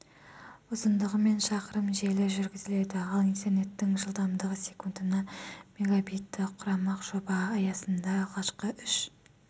ұзындығы мың шақырым желі жүргізіледі ал интернеттің жылдамдығы секундына мегабитті құрамақ жоба аясында алғашқы үш